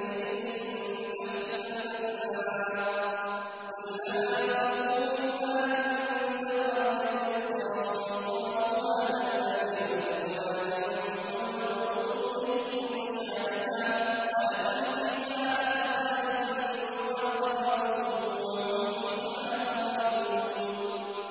تَجْرِي مِن تَحْتِهَا الْأَنْهَارُ ۖ كُلَّمَا رُزِقُوا مِنْهَا مِن ثَمَرَةٍ رِّزْقًا ۙ قَالُوا هَٰذَا الَّذِي رُزِقْنَا مِن قَبْلُ ۖ وَأُتُوا بِهِ مُتَشَابِهًا ۖ وَلَهُمْ فِيهَا أَزْوَاجٌ مُّطَهَّرَةٌ ۖ وَهُمْ فِيهَا خَالِدُونَ